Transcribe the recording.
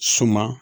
Suma